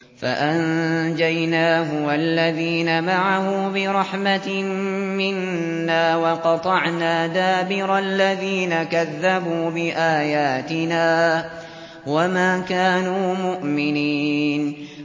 فَأَنجَيْنَاهُ وَالَّذِينَ مَعَهُ بِرَحْمَةٍ مِّنَّا وَقَطَعْنَا دَابِرَ الَّذِينَ كَذَّبُوا بِآيَاتِنَا ۖ وَمَا كَانُوا مُؤْمِنِينَ